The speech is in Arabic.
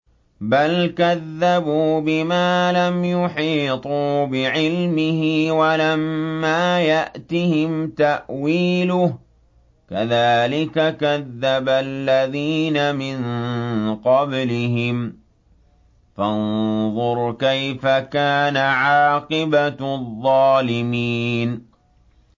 بَلْ كَذَّبُوا بِمَا لَمْ يُحِيطُوا بِعِلْمِهِ وَلَمَّا يَأْتِهِمْ تَأْوِيلُهُ ۚ كَذَٰلِكَ كَذَّبَ الَّذِينَ مِن قَبْلِهِمْ ۖ فَانظُرْ كَيْفَ كَانَ عَاقِبَةُ الظَّالِمِينَ